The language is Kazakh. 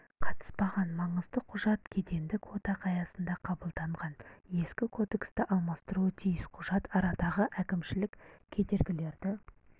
қатыспаған маңызды құжат кедендік одақ аясында қабылданған ескі кодексті алмастыруы тиіс құжат арадағы әкімшілік кедергілерді